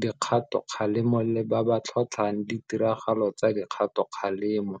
dikgatokgalemo le ba ba tlhotlhang ditiragalo tsa dikgatokgalemo.